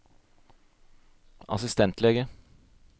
assistentlege